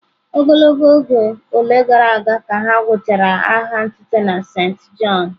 Ogologo oge ole gara aga ka ha gwụchara agha ntụte na Saint John?